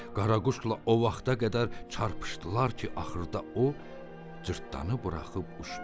Qaraquşla o vaxta qədər çarpışdılar ki, axırda o cırtdanı buraxıb uçdu.